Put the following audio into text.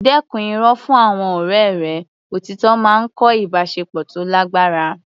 Dẹ́kun irọ́ fún àwọn ọ̀rẹ́ rẹ; Òtítọ́ máa ń kọ́ ìbáṣepọ̀ tó lágbára.